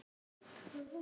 Amma, hvíldu í friði.